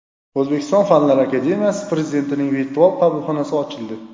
O‘zbekiston Fanlar akademiyasi prezidentining virtual qabulxonasi ochildi.